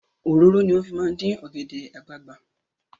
Òróró ni wọ́n fi máa ń dín ọ̀gẹ̀dẹ̀ àgbagbà.